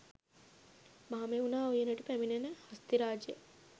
මහමෙව්නා උයනට පැමිණෙන හස්තිරාජයා